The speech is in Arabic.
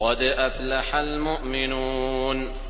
قَدْ أَفْلَحَ الْمُؤْمِنُونَ